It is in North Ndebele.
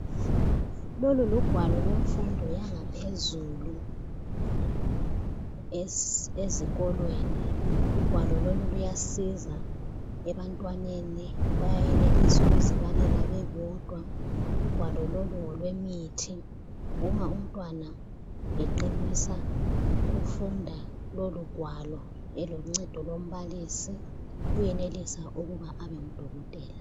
Lolu lugwalo lwemfundo yangaphezulu ezikolweni ugwalo lolu luyasiza ebantwaneni bayayenelisa ukuzibalela bebodwa, ugwalo lolu ngolwemithi uma umntwana eqinisa ukufunda lolu gwalo eloncedo lombalisi uyenelisa ukuba abe ngudokotela.